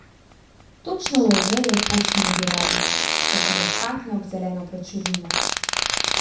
Točno v Ovejev poštni nabiralnik, da se zatakne ob zeleno pločevino.